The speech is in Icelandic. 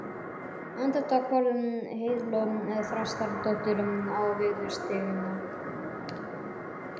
Andartak horfði Heiðló Þrastardóttir á viðurstyggðina